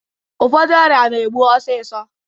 Ụfọdụ ọrịa na-egbu osisọ